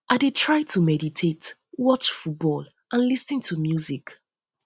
i dey try to um meditate watch um football and lis ten to music